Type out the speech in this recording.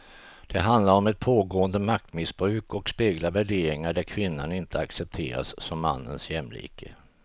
Det handlar om ett pågående maktmissbruk och speglar värderingar där kvinnan inte accepteras som mannens jämlike.